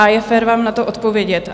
A je fér vám na to odpovědět.